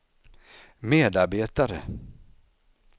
medarbetare